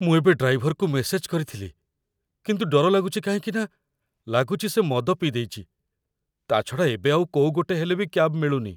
ମୁଁ ଏବେ ଡ୍ରାଇଭରକୁ ମେସେଜ କରିଥିଲି, କିନ୍ତୁ ଡର ଲାଗୁଛି କାହିଁକିନା ଲାଗୁଛି ସେ ମଦ ପିଇଦେଇଚି, ତା'ଛଡ଼ା ଏବେ ଆଉ କୋଉ ଗୋଟେ ହେଲେ ବି କ୍ୟାବ୍ ମିଳୁନି ।